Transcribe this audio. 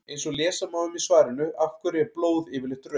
eins og lesa má um í svarinu af hverju er blóð yfirleitt rautt